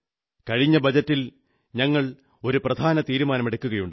കഴിഞ്ഞ ബജറ്റിൽ ഞങ്ങൾ ഒരു പ്രധാന തീരുമാനമെടുക്കുകയുണ്ടായി